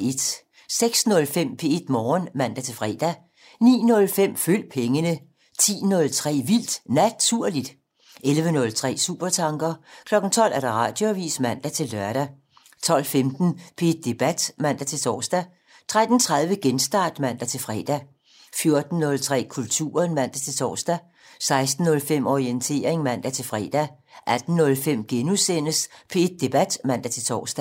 06:05: P1 Morgen (man-fre) 09:05: Følg pengene 10:03: Vildt Naturligt 11:03: Supertanker 12:00: Radioavisen (man-lør) 12:15: P1 Debat (man-tor) 13:30: Genstart (man-fre) 14:03: Kulturen (man-tor) 16:05: Orientering (man-fre) 18:05: P1 Debat *(man-tor)